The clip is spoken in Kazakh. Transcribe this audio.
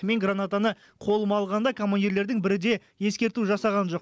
мен гранатаны қолыма алғанда командирлердің бірі де ескерту жасаған жоқ